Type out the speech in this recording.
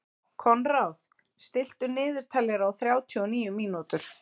Konráð, stilltu niðurteljara á þrjátíu og níu mínútur.